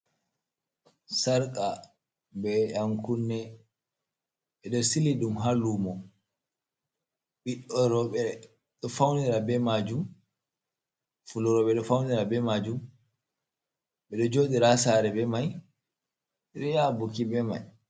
Sarqa. be yankune, bedo sili dum hallumo, ɓidoroɓeo du faunira be majum, fulrobe do faunira be majum hi bedo jodira sare be mai bedu yabuki be mai.